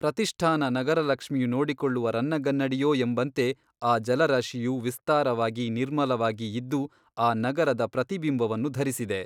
ಪ್ರತಿಷ್ಠಾನ ನಗರ ಲಕ್ಷ್ಮಿಯು ನೋಡಿಕೊಳ್ಳುವ ರನ್ನಗನ್ನಡಿಯೋ ಎಂಬಂತೆ ಆ ಜಲರಾಶಿಯು ವಿಸ್ತಾರವಾಗಿ ನಿರ್ಮಲವಾಗಿ ಇದ್ದು ಆ ನಗರದ ಪ್ರತಿಬಿಂಬವನ್ನು ಧರಿಸಿದೆ.